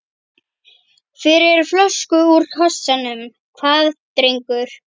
Fyrir flösku úr kassanum, hvað drengur?